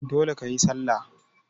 Dole kayi sallah!